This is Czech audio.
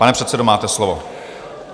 Pane předsedo, máte slovo.